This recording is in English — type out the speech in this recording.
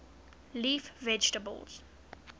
leaf vegetables